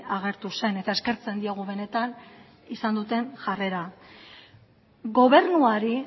agertu zen eta eskertzen diogu benetan izan duten jarrera gobernuari